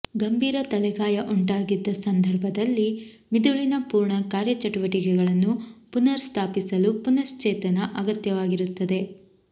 ಗಂಭೀರ ತಲೆಗಾಯ ಉಂಟಾಗಿದ್ದ ಸಂದರ್ಭದಲ್ಲಿ ಮಿದುಳಿನ ಪೂರ್ಣ ಕಾರ್ಯಚಟುವಟಿಕೆಗಳನ್ನು ಪುನರ್ ಸ್ಥಾಪಿಸಲು ಪುನಶ್ಚೇತನ ಅಗತ್ಯವಾಗಿರುತ್ತದೆ